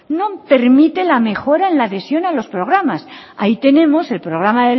no permite la mejora en la adhesión a los programas ahí tenemos el programa